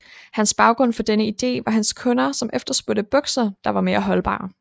Hans baggrund for denne idé var hans kunder som efterspurgte bukser der var mere holdbare